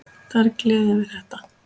Það er gleðin við þetta.